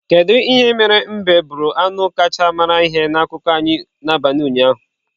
Kedu ihe mere mbe bụrụ anụ kacha mara ihe na akụkọ anyị n'abalị ụnyaahụ?